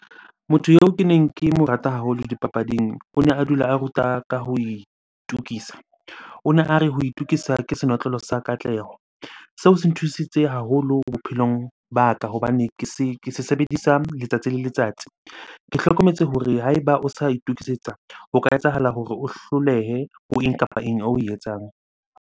Motho eo keneng ke mo rata haholo dipapading o ne a dula a ruta ka ho itukisa. O ne a re, ho itukisa ke senotlolo sa katleho. Seo se nthusitse haholo bophelong ba ka hobane ke se sebedisa letsatsi le letsatsi. Ke hlokometse hore ha eba o sa itokisetsa, ho ka etsahala hore o hlolehe ho eng kapa eng oe etsang.